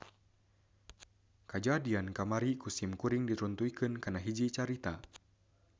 Kajadian kamari ku sim kuring diruntuykeun kana hiji carita